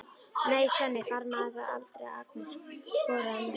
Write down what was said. Nei, Svenni harmaði það aldrei að Agnes skoraði mörk.